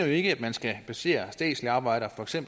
ikke at man skal placere statslige arbejdspladser